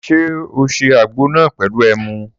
Sọ sé àgbo nà pẹlú ẹmú?